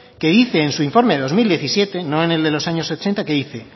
que dice en su informe de dos mil diecisiete no en el de los años ochenta que dice